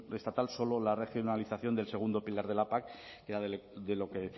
estatal solo la regionalización del segundo pilar de la pac que era de lo que